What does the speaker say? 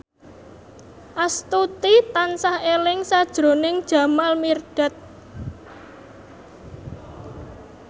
Astuti tansah eling sakjroning Jamal Mirdad